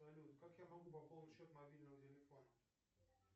салют как я могу пополнить счет мобильного телефона